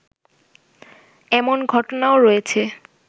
এমন ঘটনাও রয়েছে